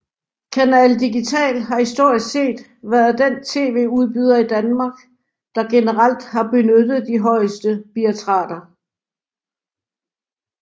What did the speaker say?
Canal digital har historisk set været den TV udbyder i Danmark der generelt har benyttet de højeste bitrater